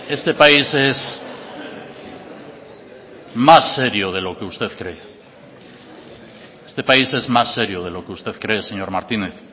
este país es más serio de lo que usted cree este país es más serio de lo que usted cree señor martínez